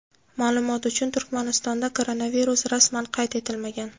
Ma’lumot uchun, Turkmanistonda koronavirus rasman qayd etilmagan.